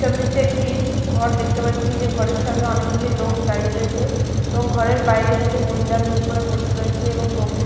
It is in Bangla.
ছবিটিতে একটি ঘর দেখতে পাচ্ছি যে ঘরের সামনে অনেকগুলি লোক দাঁড়িয়ে রয়েছে এবং ঘরের বাইরে কিছু মহিলাকে করে বসে রয়েছে এবং লোকগুলি--